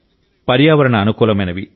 పర్యావరణ అనుకూలమైనవి